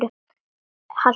Haltu þér fast.